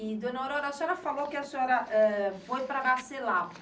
E, dona Aurora, a senhora falou que a senhora, eh foi para nascer lá.